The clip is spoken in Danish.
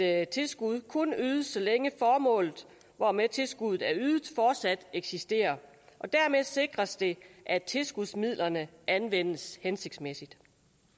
at tilskud kun ydes så længe formålet hvormed tilskuddet er ydet fortsat eksisterer og dermed sikres det at tilskudsmidlerne anvendes hensigtsmæssigt